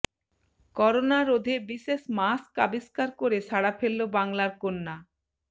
corona রোধে বিশেষ mask আবিস্কার করে সাড়া ফেললো বাংলার কন্যা